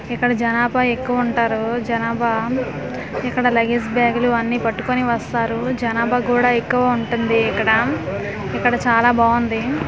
ఇక్కడ జనాభా ఎక్కువ ఉంటారు జనాభా ఇక్కడ లగేజ్ బ్యాగ్ లు అన్నిపట్టుకొని వస్తారు జనాభా కూడా ఎక్కువ ఉంటుంది ఇక్కడ ఇక్కడ చాలా బాగుంది .